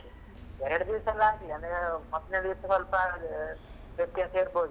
ಎರಡು ದಿವಸ ಎಲ್ಲ ಆಗ್ಲಿ ಅಂದ್ರೆ ಮೊದ್ಲನೇ ದಿವಸ ಸ್ವಲ್ಪ ವ್ಯತ್ಯಾಸ ಇರ್ಬೋದು.